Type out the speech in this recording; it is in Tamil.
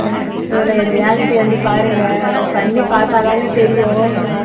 reality வந்து பாருங்க பண்ணிப் பார்த்தாதாங்க தெரியும்